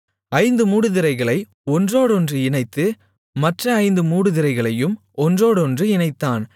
ஐந்து மூடுதிரைகளை ஒன்றோடொன்று இணைத்து மற்ற ஐந்து மூடுதிரைகளையும் ஒன்றோடொன்று இணைத்தான்